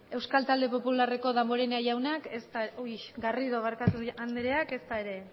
euskal popularreko damborenea jaunak ez da uy garrido parkatu anderea ez da ere